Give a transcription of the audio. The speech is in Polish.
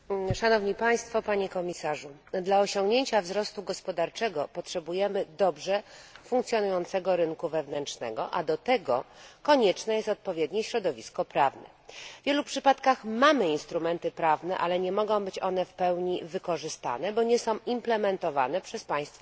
Panie Przewodniczący! Dla osiągnięcia wzrostu gospodarczego potrzebujemy dobrze funkcjonującego rynku wewnętrznego, a do tego konieczne jest odpowiednie środowisko prawne. W wielu przypadkach mamy instrumenty prawne, ale nie mogą być one w pełni wykorzystane, bo nie są wdrażane przez państwa członkowskie.